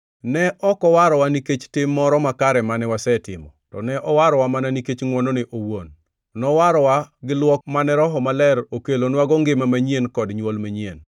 Ne ok owarowa nikech tim moro makare mane wasetimo, to ne owarowa mana nikech ngʼwonone owuon. Nowarowa gi luok mane Roho Maler okelonwago ngima manyien kod nywol manyien.